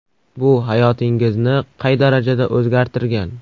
Bu hayotingizni qay darajada o‘zgartirgan?